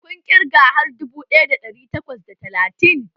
Kun yi ƙirgen har dubu ɗaya da ɗari takwas da talatin?